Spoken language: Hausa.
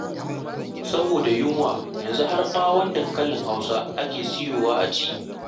Saboda yunwa yanzu har ɓawon dankalin Hausa ake soyawa a ci.